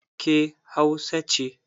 Ke Hausa ce?